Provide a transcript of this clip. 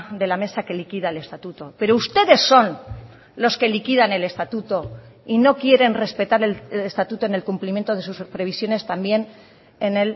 de la mesa que liquida el estatuto pero ustedes son los que liquidan el estatuto y no quieren respetar el estatuto en el cumplimiento de sus previsiones también en